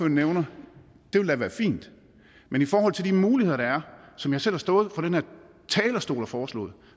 nævner vil da være fint men i forhold til de muligheder der er og som jeg selv har stået på den her talerstol og foreslået